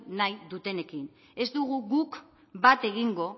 nahi dutenekin ez dugu guk bat egingo